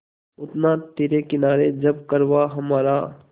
उतरा तिरे किनारे जब कारवाँ हमारा